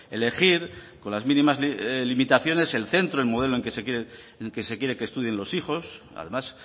elegir con las mínimas limitaciones el centro el modelo en que se quiere que estudien los hijos además